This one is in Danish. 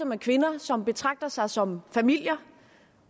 med kvinder og som betragter sig som familier